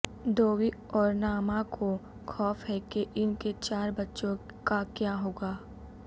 دووی اور ناما کو خوف ہے کہ ان کے چار بچوں کا کیا ہو گا